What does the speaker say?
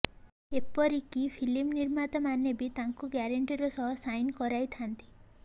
ଏପରିକି ଫିଲ୍ମ ନିର୍ମାତାମାନେ ବି ତାଙ୍କୁ ଗ୍ୟାରେଣ୍ଟିର ସହ ସାଇନ୍ କରାଇଥାନ୍ତି